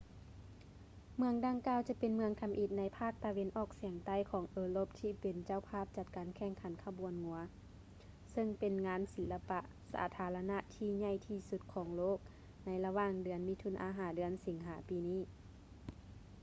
ເມືອງດັ່ງກ່າວຈະເປັນເມືອງທຳອິດໃນພາກຕາເວັນອອກສຽງໃຕ້ຂອງເອີຣົບທີ່ເປັນເຈົ້າພາບຈັດການແຂ່ງຂັນຂະບວນງົວ ເຊິ່ງເປັນງານສິລະປະສາທາລະນະທີ່ໃຫຍ່ທີ່ສຸດຂອງໂລກໃນລະຫວ່າງເດືອນມິຖຸນາ ຫາ ເດືອນສິງຫາປີນີ້